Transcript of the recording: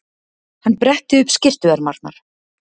Hann bretti upp skyrtuermarnar.